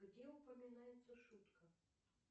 где упоминается шутка